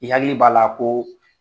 I hakili b'a la ko